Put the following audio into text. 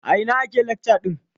A ina ake lacca ɗin?